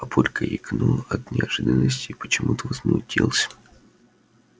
папулька икнул от неожиданности и почему-то возмутился